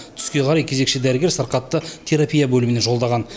түске қарай кезекші дәрігер сырқатты терапия бөліміне жолдаған